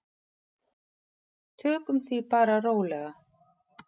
Tökum því bara rólega.